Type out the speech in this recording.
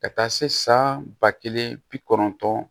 Ka taa se san ba kelen bi kɔnɔntɔn